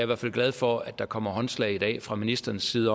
hvert fald glad for at der kommer håndslag i dag fra ministerens side